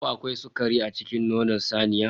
Ko akwai sukari a cikin nonon saniya?